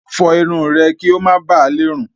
Fọ irun rẹ kí ó má ba lè rùn.